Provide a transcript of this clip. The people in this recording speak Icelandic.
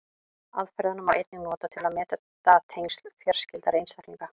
Aðferðina má einnig nota til að meta tengsl fjarskyldari einstaklinga.